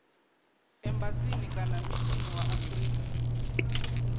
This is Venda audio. embasini kana mishinini wa afrika